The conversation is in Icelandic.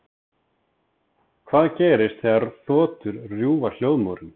Hvað gerist þegar þotur rjúfa hljóðmúrinn?